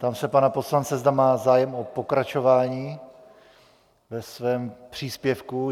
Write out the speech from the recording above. Ptám se pana poslance, zda má zájem o pokračování ve svém příspěvku.